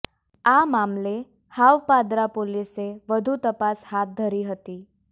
આ મામલે હાવ પાદરા પોલીસે વધુ તપાસ હાથ ધરી છે